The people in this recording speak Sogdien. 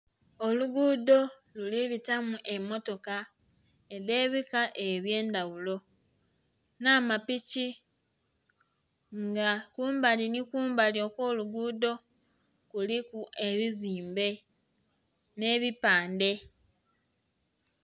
Olugudho lulibitamu emotoka edhe bika ebye ndaghulo nha mapiki nga kumbali nhi kumbali okwo lugudho kuliku ebizimbe nhe bipandhe.